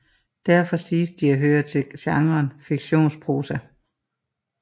Derfor siges de at høre til genren fiktionsprosa